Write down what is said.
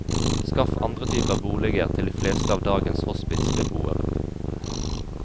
Skaff andre typer boliger til de fleste av dagens hospitsbeboere.